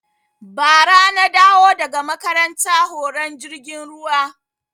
Ba ra na dawo daga makaranta horon jirgin ruwa